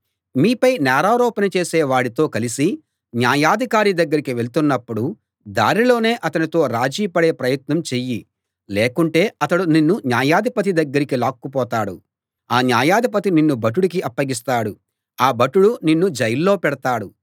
మీపై నేరారోపణ చేసే వాడితో కలసి న్యాయాధికారి దగ్గరికి వెళ్తున్నప్పుడు దారిలోనే అతనితో రాజీపడే ప్రయత్నం చెయ్యి లేకుంటే అతడు నిన్ను న్యాయాధిపతి దగ్గరికి లాక్కుపోతాడు ఆ న్యాయాధిపతి నిన్ను భటుడికి అప్పగిస్తాడు ఆ భటుడు నిన్ను జైల్లో పెడతాడు